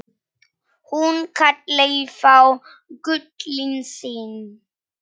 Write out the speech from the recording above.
Hún kallaði þá gullin sín.